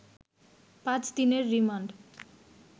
৫ দিনের রিমান্ড